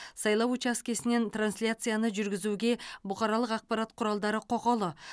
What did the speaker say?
сайлау учаскесінен трансляцияны жүргізуге бұқаралық ақпарат құралдары құқылы